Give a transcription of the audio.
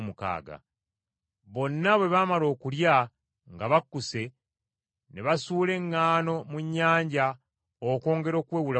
Bonna bwe baamala okulya nga bakkuse, ne basuula eŋŋaano mu nnyanja okwongera okuwewula ku kyombo.